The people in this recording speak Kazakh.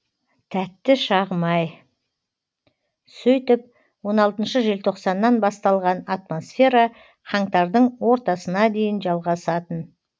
тәтті шағым ай сөйтіп он алтыншы желтоқсаннан басталған атмосфера қаңтардың ортасына дейін жалғасатын